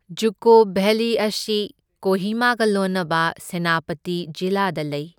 ꯖꯨꯀꯣ valley ꯑꯁꯤ ꯀꯣꯍꯤꯃꯥꯒ ꯂꯣꯟꯅꯕ ꯁꯦꯅꯥꯄꯇꯤ ꯖꯤꯂꯥꯗ ꯂꯩ꯫